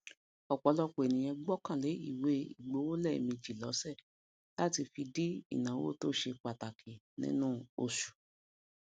um ọpọlọpọ ènìyàn gbọkan le iwe igbowo lèèmejì lose lati fi di ìnáwó tose pàtàkì nínú osù